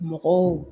Mɔgɔw